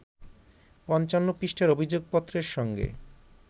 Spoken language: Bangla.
৫৫ পৃষ্ঠার অভিযোগপত্রের সঙ্গে